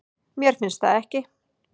Mér finnst það ekki